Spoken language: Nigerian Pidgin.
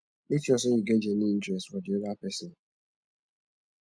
make sure sey you get genuine interest for di oda person